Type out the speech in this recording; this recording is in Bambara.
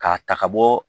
K'a ta ka bɔ